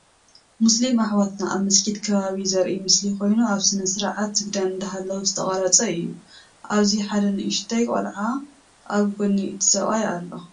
ሙስሊም አሕዋትና አብ መስጊድ ከባቢ ዘርኢ ምስሊ ኮይኑ አብ ስነ ስርዓት ስግዳን እንዳሀለዉ ዝተቀረፀ እዩ፡፡ አብዚ ሐደ ንኡሽተይ ቆለዓ አብ ጎነ እቲ ሰብአይ አሎ፡፡